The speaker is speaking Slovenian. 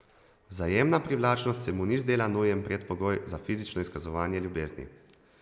Vzajemna privlačnost se mu ni zdela nujen predpogoj za fizično izkazovanje ljubezni.